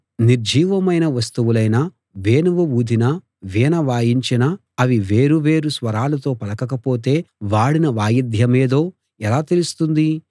నిర్జీవమైన వస్తువులైన వేణువు ఊదినా వీణ వాయించినా అవి వేరు వేరు స్వరాలు పలకకపోతే వాడిన వాయిద్యమేదో ఎలా తెలుస్తుంది